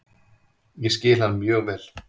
Ég skil hann mjög vel.